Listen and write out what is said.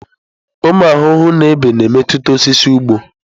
Ụmụ ahụhụ na ebe na-emetụta osisi ugbo.